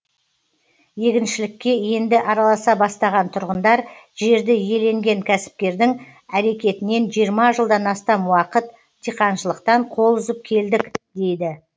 егіншілікке енді араласа бастаған тұрғындар жерді иеленген кәсіпкердің әрекетінен жиырма жылдан астам уақыт диқаншылықтан қол үзіп келдік дейді